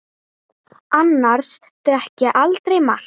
Annars drekk ég aldrei malt.